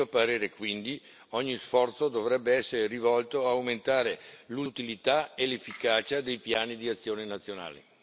A mio parere, quindi, ogni sforzo dovrebbe essere rivolto ad aumentare l'utilità e l'efficacia dei piani di azione nazionali.